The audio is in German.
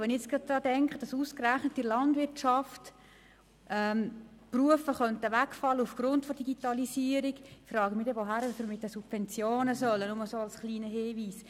Wenn ich denke, dass wegen der Digitalisierung ausgerechnet in der Landwirtschaft Berufe wegfallen könnten, frage ich mich, wo wir dann mit den Subventionen hinwollten – nur so als kleiner Hinweis.